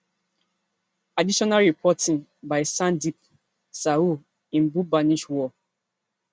additional reporting by sandeep sahu in bhubaneshwar